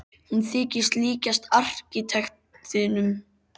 Hún þykir líkjast arkitektinum sem teiknaði húsið þeirra.